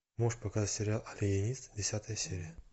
можешь показать сериал алиенист десятая серия